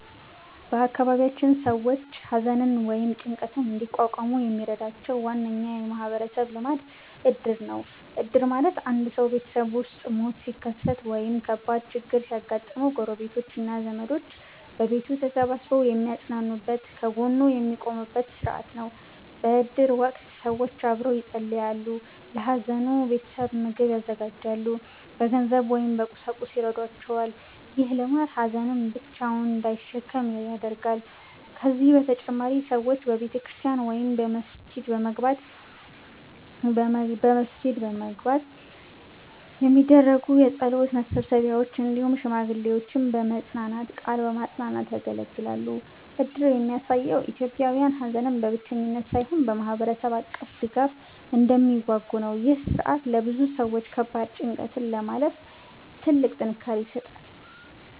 በአካባቢያችን ሰዎች ሐዘንን ወይም ጭንቀትን እንዲቋቋሙ የሚረዳቸው ዋነኛ የማህበረሰብ ልማድ እድር ነው። እድር ማለት አንድ ሰው ቤተሰቡ ውስጥ ሞት ሲከሰት ወይም ከባድ ችግር ሲያጋጥመው፣ ጎረቤቶች እና ዘመዶች በቤቱ ተሰብስበው የሚያጽናኑበት፣ ከጎኑ የሚቆሙበት ሥርዓት ነው። በእድር ወቅት ሰዎች አብረው ይጸልያሉ፣ ለሐዘኑ ቤተሰብ ምግብ ያዘጋጃሉ፣ በገንዘብ ወይም በቁሳቁስ ይረዷቸዋል። ይህ ልማድ ሀዘንን ብቻውን እንዳይሸከም ያደርጋል። ከዚህ በተጨማሪ ሰዎች በቤተክርስቲያን ወይም በመስጊድ የሚዘጋጁ የጸሎት መሰብሰቢያዎች፣ እንዲሁም ሽማግሌዎች በመጽናናት ቃል ማጽናናት ያገለግላሉ። እድር የሚያሳየው ኢትዮጵያውያን ሐዘንን በብቸኝነት ሳይሆን በማህበረሰብ አቀፍ ድጋፍ እንደሚዋጉ ነው። ይህ ሥርዓት ለብዙ ሰዎች ከባድ ጭንቀትን ለማለፍ ትልቅ ጥንካሬ ይሰጣል።